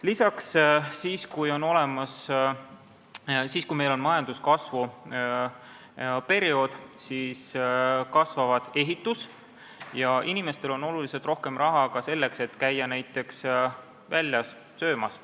Lisaks, kui meil on majanduskasvu periood, siis kasvab ehitussektor ja inimestel on oluliselt rohkem raha ka selleks, et käia näiteks väljas söömas.